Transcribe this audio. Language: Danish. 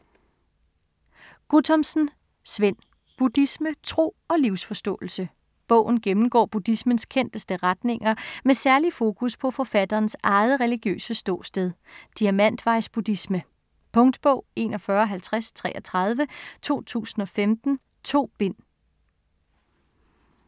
Guttormsen, Svend: Buddhisme: tro og livsforståelse Bogen gennemgår buddhismens kendteste retninger med særlig fokus på forfatterens eget religiøse ståsted: diamantvejs-buddhisme. Punktbog 415033 2015. 2 bind.